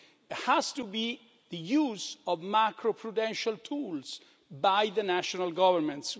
It has to be the use of macroprudential tools by the national governments.